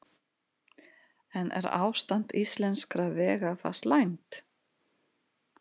En er ástand íslenskra vega það slæmt?